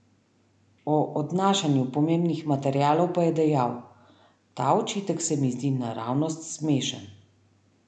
O odnašanju pomembnih materialov pa je dejal: 'Ta očitek se mi zdi naravnost smešen.